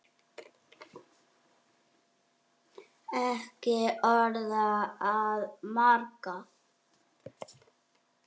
Ekki orð að marka.